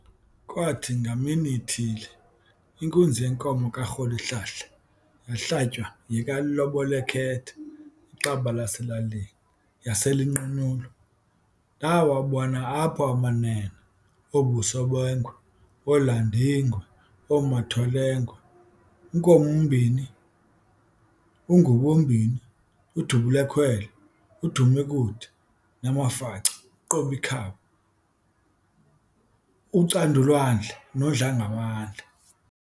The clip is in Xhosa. Kwaathi ngamini ithile, inkunzi yenkomo ka"Rholihlahla", yahlatywa yeka"Lobol'ekhetha", iqaba laselalini, yasel'inqunyulwa. Ndaawabona apho amanene- Oo"Busobengwe", oo-"Landingwe", oo"Matholengwe", u"Nkomombini", u"Ngubombini", u"Dubulekhwele", u"Dumekude", namafaca u"Qobikhaba", u"Candulwandle", no"Dlangamandla".